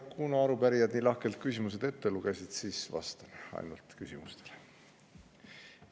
Kuna arupärija küsimused nii lahkelt ette luges, siis ma ainult vastan küsimustele.